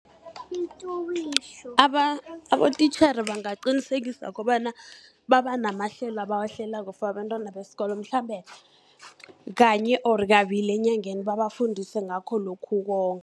Abotitjhere bangaqinisekisa kobana babanamahlelo abawahlelako for abantwana besikolo, mhlambe kanye or kabili enyangeni babafundise ngakho lokhu ukuwonga